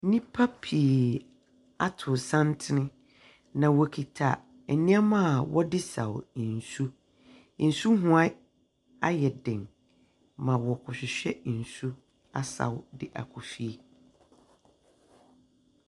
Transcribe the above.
Nipa pii ato santene na ɔkuta ɛnoɔma a ɔde saw nsu nsu ho. Ayɛ den ma ɔkɔhwehwɛ nsu asaw de akɔ fie.